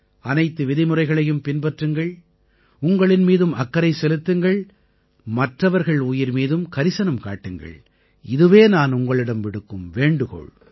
அனைத்து விதிமுறைகளையும் பின்பற்றுங்கள் உங்களின் மீதும் அக்கறை செலுத்துங்கள் மற்றவர்கள் உயிர் மீதும் கரிசனம் காட்டுங்கள் இதுவே நான் உங்களிடம் விடுக்கும் வேண்டுகோள்